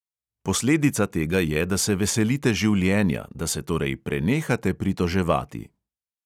Posledica tega je, da se veselite življenja, da se torej prenehate pritoževati.